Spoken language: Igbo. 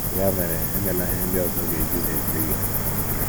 Ya mere, emela ihe ndị ọzọ ga - eji na - eche gị.